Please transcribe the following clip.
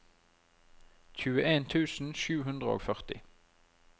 tjueen tusen sju hundre og førti